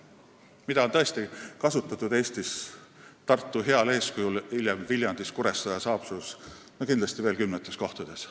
Kaasavat eelarvet on tõesti Eestis Tartu heal eeskujul kasutatud, hiljem ka Viljandis, Kuressaares ja Haapsalus ning kindlasti veel kümnetes kohtades.